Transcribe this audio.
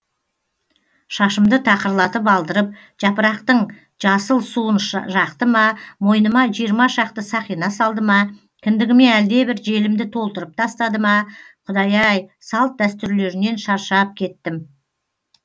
шашымды тақырлатып алдырып жапырақтың жасыл суын жақты ма мойныма жиырма шақты сақина салды ма кіндігіме әлдебір желімді толтырып тастады ма құдай ай салт дәстүрлерінен шаршап кеттім